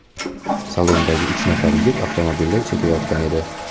Salondagi uch nafar yigit avtomobilda chekayotgan edi.